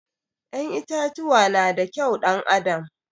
Ƴan itatuwa na da kyau ɗan adam